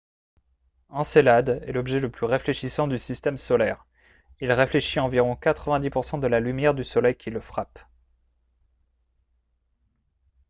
encelade est l'objet le plus réfléchissant du système solaire. il réfléchit environ 90 % de la lumière du soleil qui le frappe